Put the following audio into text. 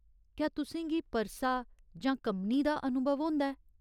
क्या तुसें गी परसा जां कम्बनी दा अनुभव होंदा ऐ ?